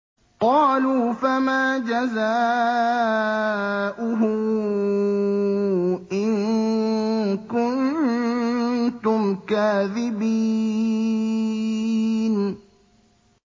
قَالُوا فَمَا جَزَاؤُهُ إِن كُنتُمْ كَاذِبِينَ